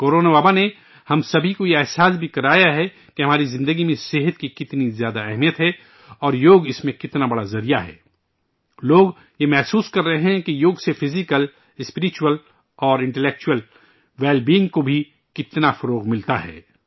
corona وبا نے ہم سبھی کو یہ احساس بھی کرایا ہے کہ ہماری زندگی میں صحت کی کتنی زیادہ اہمیت ہے، اور یوگ اس میں کتنا بڑا وسیلہ ہے ، لوگ یہ محسوس کررہے ہیں کہ یوگ سے فزیکل ، اسپرچوئل اور انٹل ایکچوئل ویل بیئنگ کو بھی فروغ ملتا ہے